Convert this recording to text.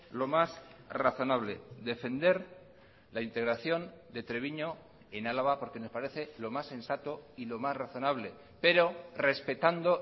lo más razonable defender la integración de treviño en álava porque nos parece lo más sensato y lo más razonable pero respetando